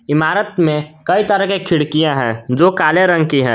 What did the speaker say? इमारत में कई तरह की खिड़कियां है जो काले रंग की है।